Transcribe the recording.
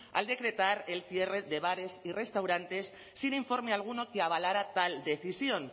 al decretar el cierre de bares y restaurantes sin informe alguno que avalara tal decisión